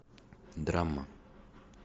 драма